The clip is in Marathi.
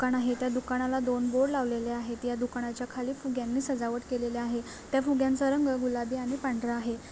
दुकान आहे त्या दुकानाला दोन बोर्ड लावलेले आहे त्या दुकानाच्या खाली फुग्यांनी सजावट केलेली आहे त्या फुग्यांचा रंग गुलाबी आणि पंधरा आहे.